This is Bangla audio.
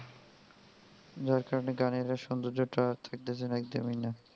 যার কারণে গানের আর সৌন্দর্যটা থাকতেছে না একদমই না.